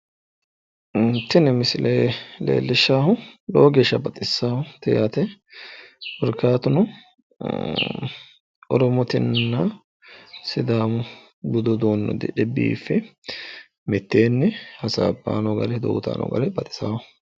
Tini misile leellishaahu lowo geeshsha baxisaawoote yaate korkaatuno Oromotenna Sidaamu budu uduunne uddidhe biiffe mitteenni hasaabbanni odoo uuyitayi no gari baxisawo.